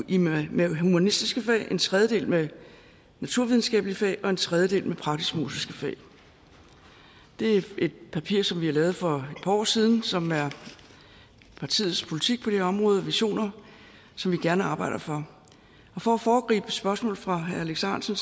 med humanistiske fag en tredjedel med naturvidenskabelige fag og en tredjedel med praktisk musiske fag det er et papir som vi har lavet for par år siden som er partiets politik på det her område visioner som vi gerne arbejder for og for at foregribe et spørgsmål fra herre alex ahrendtsen